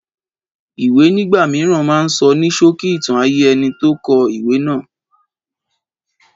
Ìwé nígbà mìíràn máa ń sọ ní ṣókí ìtàn ayé ẹnití ó kọ ìwé náà